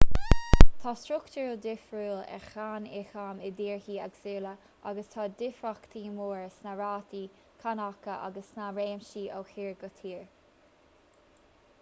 tá struchtúr difriúil ar cháin ioncaim i dtíortha éagsúla agus tá difríochtaí móra sna rátaí cánacha agus sna réimsí ó thír go tír